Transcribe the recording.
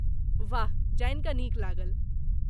वाह! जानि कऽ नीक लागल।